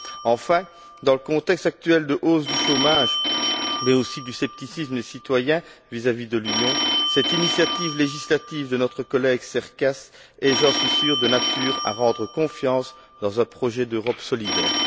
Enfin, dans le contexte actuel de hausse du chômage, mais aussi du scepticisme des citoyens vis à vis de l'Union, cette initiative législative de notre collègue Cercas est, j'en suis sûr, de nature à rendre confiance dans un projet d'Europe solidaire.